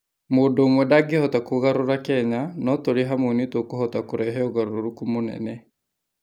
Mũndũ ũmwe ndangĩhota kũgarũra Kenya, no tũrĩ hamwe nĩ tũkũhota kũrehe ũgarũrũku mũnene.